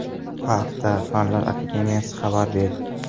Bu haqda Fanlar akademiyasi xabar berdi .